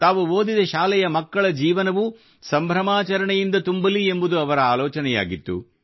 ತಾವು ಓದಿದ ಶಾಲೆಯ ಮಕ್ಕಳ ಜೀವನವೂ ಸಂಭ್ರಮಾಚರಣೆಯಿಂದ ತುಂಬಲಿ ಎಂಬುದು ಅವರ ಆಲೋಚನೆಯಾಗಿತ್ತು